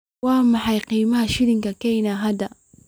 Waa maxay qiimaha shilinka Kenya hadda?